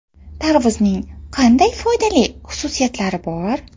Tarvuzning qanday foydali xususiyatlari bor?.